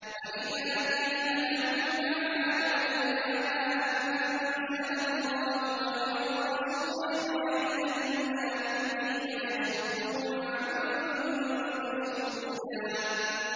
وَإِذَا قِيلَ لَهُمْ تَعَالَوْا إِلَىٰ مَا أَنزَلَ اللَّهُ وَإِلَى الرَّسُولِ رَأَيْتَ الْمُنَافِقِينَ يَصُدُّونَ عَنكَ صُدُودًا